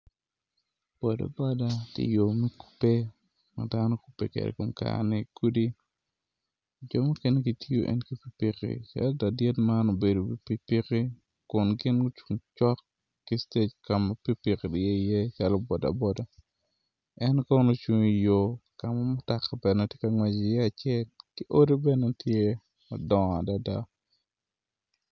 Ladit man obedo i wi pikipiki kun gin gucung cok ka ma piki piki tye iye calo boda boda